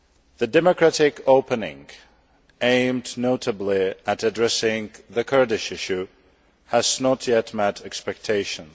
The democratic opening aimed notably at addressing the Kurdish issue has not yet met expectations.